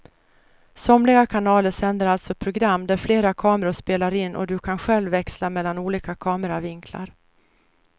Somliga kanaler sänder alltså program där flera kameror spelar in och du kan själv växla mellan olika kameravinklar.